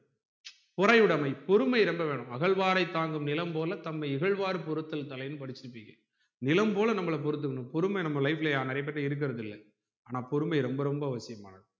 பொறையுடைமை பொறுமை ரொம்ப வேணும் அகழ்வாரை தாங்கும் நிலம் போல தம்மை இகழ்வார் பொறுத்தல் தலைனு படிச்சிருப்பீங்க நிலம் போல நம்மள பொறுத்துக்கணும் பொறுமை நம்ம life ல யார் நெறைய பேர் கிட்ட இருக்குறது இல்லஆனா பொறுமை ரொம்ப ரொம்ப அவசியமானது